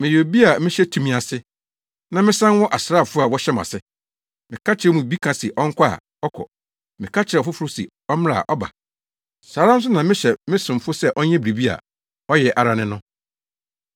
Meyɛ obi a mehyɛ tumi ase, na mesan wɔ asraafo a wɔhyɛ mʼase. Meka kyerɛ wɔn mu bi sɛ ɔnkɔ a, ɔkɔ. Meka kyerɛ ɔfoforo se ɔmmra a, ɔba. Saa ara nso na mehyɛ me somfo sɛ ɔnyɛ biribi a, ɔyɛ ara ne no.”